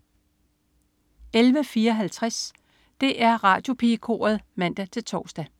11.54 DR Radiopigekoret (man-tors)